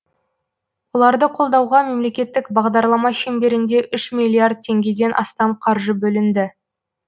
оларды қолдауға мемлекеттік бағдарлама шеңберінде үш миллиард теңгеден астам қаржы бөлінді